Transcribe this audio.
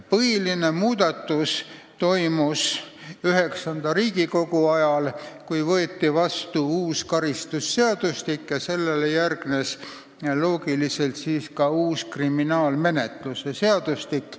Põhilised muudatused tehti IX Riigikogu ajal, kui võeti vastu uus karistusseadustik, millele loogiliselt järgnes ka uus kriminaalmenetluse seadustik.